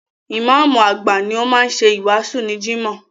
Ìmáàmù àgbà ni ó máa ń ṣe wáàsí ní Jimoh.